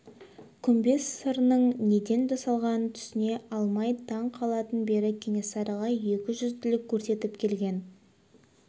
күмбез сырының неден жасалғанын түсіне алмай таң қалатын бері кенесарыға екі жүзділік көрсетіп келген